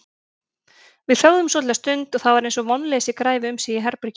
Við þögðum svolitla stund og það var eins og vonleysi græfi um sig í herberginu.